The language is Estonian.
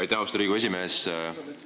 Aitäh, austatud Riigikogu esimees!